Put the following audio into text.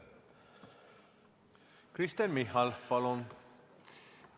Kristen Michal, palun!